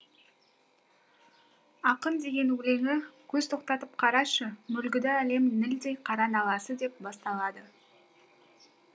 ақын деген өлеңі көз тоқтатып қарашы мүлгіді әлем нілдей қара наласы деп басталады